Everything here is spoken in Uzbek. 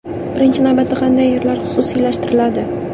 Birinchi navbatda qanday yerlar xususiylashtiriladi?